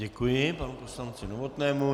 Děkuji panu poslanci Novotnému.